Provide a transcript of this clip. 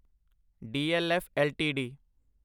DLF LTD